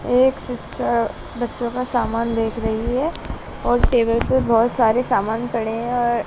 एक सिस्टर बच्चों का सामान देख रही है और टेबल पर बहोत सारे सामान पड़े हैं अ--